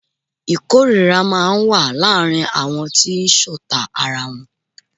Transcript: Ìkórira máa ń wà láàárín àwọn tí ṣọ̀ta ara wọn.